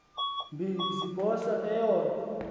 mbi ziphosa eyona